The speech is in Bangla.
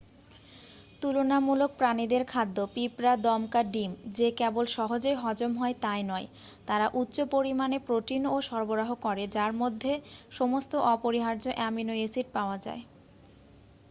তুলনামূলক প্রাণীদের খাদ্য পিঁপড় দমকা ডিম যে কেবল সহজেই হজম হয় তাই নয় তারা উচ্চ পরিমাণে প্রোটিনও সরবরাহ করে যার মধ্যে সমস্ত অপরিহার্য অ্যামিনো অ্যাসিড পাওয়া যায়।